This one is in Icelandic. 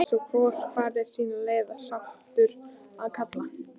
Hafi svo hvor farið sína leið, sáttur að kalla.